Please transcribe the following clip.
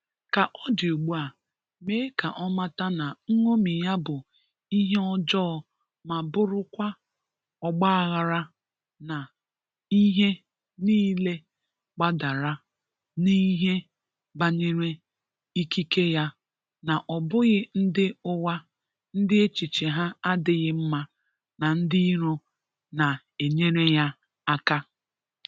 Ka ọ dị ụgbu a, mee ka ọ mata na nṅomi ya bụ ihe ọjọọ ma bụrụkwa ọgbaghara na ihe nịịle gbadara n'ihe banyere ikike ya na ọ bụghị ndị ụgha ndị echiche ha adịghị mma na ndị iro na-enyere ya aka.